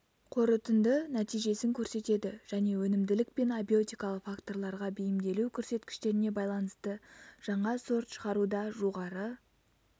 қорытынды нәтижесін көрсетеді және өнімділік пен абиотикалық факторларға бейімделу көрсеткіштеріне байланысты жаңа сорт шығаруда жоғары